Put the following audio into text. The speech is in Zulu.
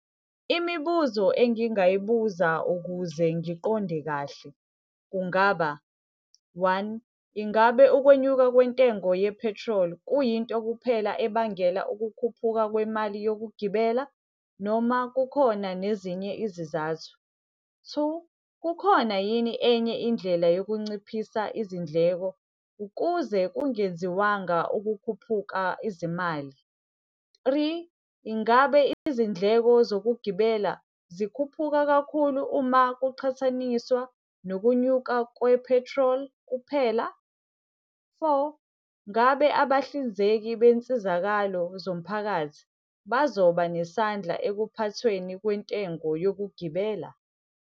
Imibuzo engingayibuza ukuze ngiqonde kahle kungaba, one, ingabe ukwenyuka kwentengo yephethroli kuyinto kuphela ebangela ukukhuphuka kwemali yokugibela noma kukhona nezinye izizathu? Two, kukhona yini enye indlela yokunciphisa izindleko ukuze kungenziwanga ukukhuphuka izimali? Three, ingabe izindleko zokugibela zikhuphuka kakhulu uma kuqhathaniswa nokunyuka kwephethroli kuphela? Four, ngabe abahlinzeki bensizakalo zomphakathi bazoba nesandla ekuphathweni kwentengo yokugibela?